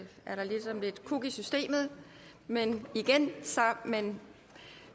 ligesom gået lidt kuk i systemet men men